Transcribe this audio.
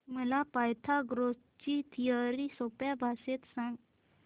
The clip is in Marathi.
मला पायथागोरस ची थिअरी सोप्या भाषेत सांग